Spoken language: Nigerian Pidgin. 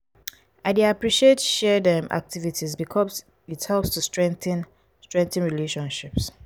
i dey appreciate shared um activities because it helps to strengthen strengthen relationships.